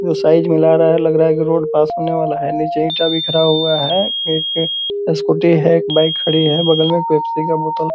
ये साइज़ मिला रहा है लग रहा है की रोड पास होने वाला है नीचे ईटा बिखरा हुआ है एक स्कूटी है एक बाइक खड़ी है बगल में पेप्सी का बोतल --